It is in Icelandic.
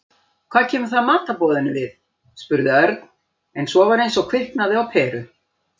Hvað kemur það matarboðinu við? spurði Örn en svo var eins og kviknaði á peru.